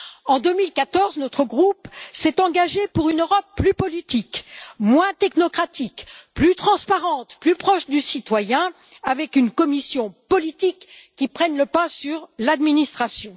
En 2014, notre groupe s'est engagé pour une Europe plus politique, moins technocratique, plus transparente, plus proche du citoyen, avec une Commission politique qui prenne le pas sur l'administration.